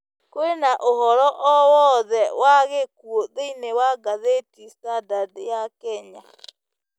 kwĩna ũhoro o wothe wa gĩkũũ thĩĩnĩ wa gathiti standard ya kenya